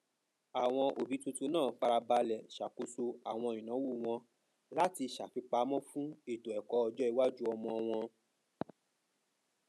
àwọn òbí tuntun náà fara balẹ ṣàkóso àwọn ináwó wọn láti ṣàfipamọ fún ètò ẹkọ ọjọ iwájú ọmọ wọn